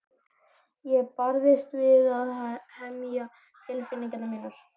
Ég barðist við að hemja tilfinningar mínar.